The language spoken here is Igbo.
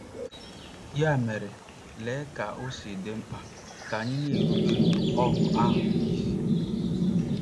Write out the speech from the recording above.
Ya mere, lee ka o si dị mkpa na anyị na-erubere “óhù ahụ” isi!